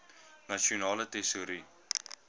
nasionale tesourie